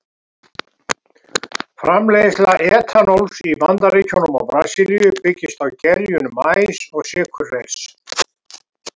Framleiðsla etanóls í Bandaríkjunum og Brasilíu byggist á gerjun maís og sykurreyrs.